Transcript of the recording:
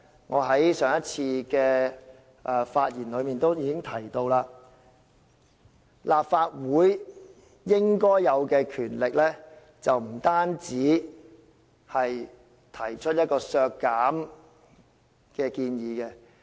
我在上次發言時已提到，立法會享有的權力不應只限於提出削減開支的建議。